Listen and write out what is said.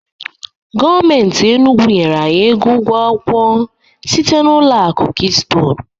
Gọọmenti Enugwu nyere anyị ego ụgwọ akwụkwọ site n'ụlọ akụ Keystone